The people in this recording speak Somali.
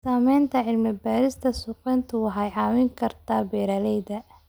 Sameynta cilmi-baarista suuqgeyntu waxay caawin kartaa beeralayda.